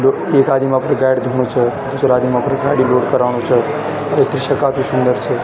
यु एक आदिम अपरि गाडी दिखणू च दुसरो आदिम अपरी गाडी कराणु च ये दृश्य काफी सुन्दर छ।